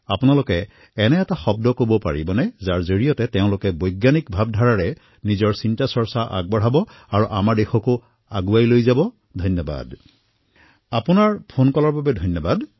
আপোনাৰ ফোন কলৰ বাবে বহুত বহুত ধন্যবাদ